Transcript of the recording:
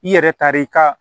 I yɛrɛ tar'i ka